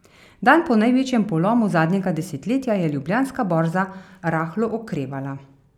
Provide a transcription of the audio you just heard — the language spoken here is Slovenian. Dan po največjem polomu zadnjega desetletja je Ljubljanska borza rahlo okrevala.